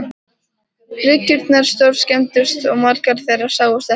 Bryggjurnar stórskemmdust og margar þeirra sáust ekki framar.